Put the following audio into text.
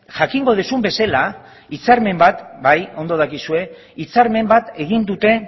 jakingo duzun bezala hitzarmen bat bai ondo dakizue hitzarmen bat egin dute